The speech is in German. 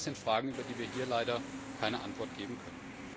All das sind Fragen, auf die wir hier leider keine Antwort geben können.